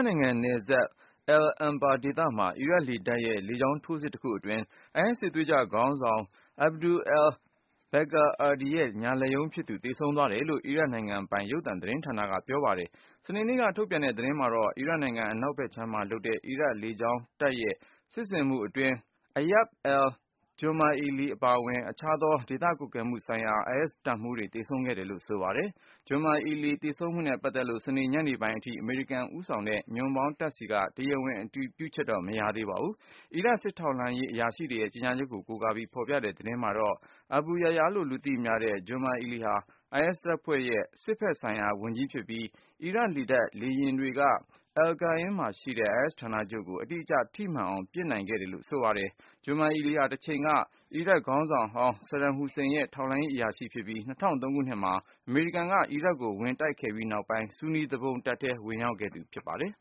နိုင်ငံနယ်စပ် al-Anbar ဒေသမှာ အီရတ်လေတပ်ရဲ့ တိုက်ခိုက်မှုကြောင့် IS စစ်သွေးကြွခေါင်းဆောင် Abu-Bakr al-Baghdadi ရဲ့ ညာလက်ရုံးဖြစ်သူ သေဆုံး သွားတယ်လို့ အီရတ်နိုင်ငံပိုင် ရုပ်သံ သတင်းဌာနက ပြောပါတယ်။ စနေနေ့က ထုတ်ပြန်တဲ့ သတင်းမှာတော့ အီရတ်နိုင်ငံ အနောက်ဖက်ခြမ်းမှာလုပ်တဲ့ အီရတ်လေကြောင်းတပ်ရဲ့ စစ်ဆင်မှုအတွင်း Ayad al-Jumaili အပါအဝင်၊ အခြားသော ဒေသကွပ်ကဲမှုဆိုင်ရာ IS တပ်မှူးတွေသေဆုံးခဲ့တယ်လို့ ဆိုပါတယ်။ Jumaili သေဆုံးမှုနဲ့ပတ်သက်လို့စနေ ညနေပိုင်းအထိ အမေရိကန်ဦးဆောင်တဲ့ ညွန့်ပေါင်းတပ်ဆီက တရားဝင် အတည်ပြုချက် မရရှိသေးပါဘူး။ အီရတ် စစ်ထောက်လှမ်းရေးအရာရှိတွေရဲ့ ကြေညာချက်ကို ကိုးကားပြီး ဖေါ်ပြတဲ့သတင်းမှာတော့ Abu Yahya လို့သိကြတဲ့ Jumaili ဟာ IS တပ်ဖွဲ့ရဲ့ စစ်ဖက်ဆိုင်ရာဝန်ကြီး ဖြစ်ပြီး၊ အီရတ်လေတပ် လေယာဉ်တွေက al-Qaim မှာရှိတဲ့ IS ဌာနချုပ်ကို အတိကျ ထိမှန်အောင် ပစ်နိုင်ခဲ့ တယ်လို့ ဆိုပါတယ်။ Jumaili ဟာ တချိန်က အီရတ်ခေါင်းဆောင်ဟောင်း Saddam Hussein ရဲ့ထောက်လှမ်းရေး အရာရှိတဦးဖြစ်ပြီး၊ ၂၀၀၃ ခုနှစ်မှာ အမေရိကန်က အီရတ်ကိုဝင်တိုက် ခဲ့ပြီးနောက်ပိုင်း ဆူနီသူပုန်တပ်ထဲ ဝင်ရောက်ခဲ့သူဖြစ်ပါတယ်